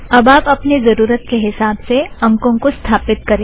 अब आप अपने ज़रुरत के हिसाब से अंकों को स्थापीत करें